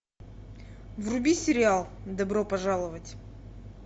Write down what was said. вруби сериал добро пожаловать